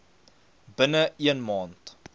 binne een maand